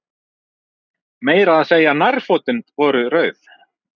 Meira að segja nærfötin voru rauð.